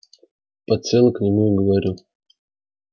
подсела к нему и говорю